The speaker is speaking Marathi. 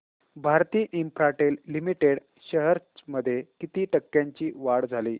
भारती इन्फ्राटेल लिमिटेड शेअर्स मध्ये किती टक्क्यांची वाढ झाली